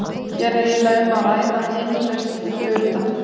Hér er eiginlega um að ræða innlausn hluta.